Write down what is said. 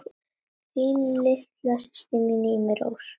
Þín litla systir, Irmý Rós.